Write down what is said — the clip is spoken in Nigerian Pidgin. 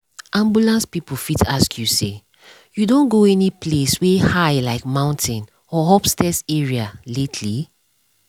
ambulance people fit ask you say “you don go any place wey high like mountain or upstairs area lately?”